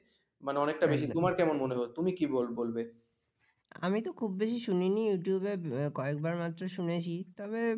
আমি তো খুব বেশী শুনিনি youtube কয়েকবার মাত্র শুনেছি তবে